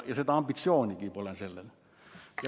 Ja seda ambitsioonigi pole.